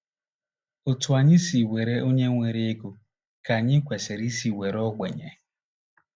Otú anyị si were onye nwere ego ka anyị kwesịrị isi were ogbenye.